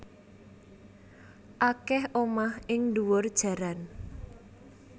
Akeh omah ing ndhuwur jaran